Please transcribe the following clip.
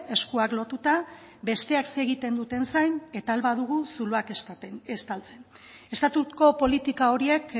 eskuak lotuta besteak zer egiten duten zain eta ahal badugu zuloak estaltzen estatuko politika horiek